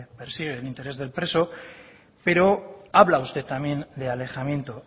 persigue en interés del preso pero habla usted también de alejamiento